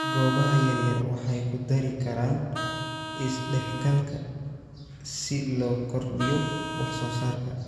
Goobaha yaryar waxay ku dari karaan is-dhexgalka si loo kordhiyo wax soo saarka.